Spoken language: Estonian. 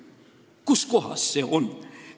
Kuskohas see on?